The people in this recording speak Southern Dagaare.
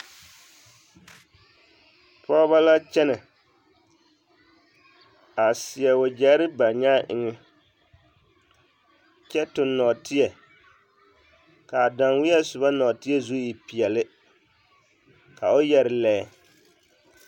Pɔgebɔ la kyɛnɛ a seɛ wagyɛre ba nyaa eŋɛ kyɛ toŋ nɔɔteɛ k'a danweɛ soba nɔɔteɛ zu e peɛle ka o yɛre lɛɛ.